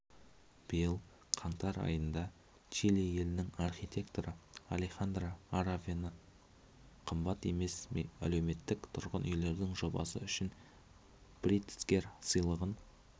биыл қаңтар айында чили елінің архитекторы алехандро аравенақымбат емес әлеуметтік тұрғын үйлердің жобасы үшін притцкер сыйлығын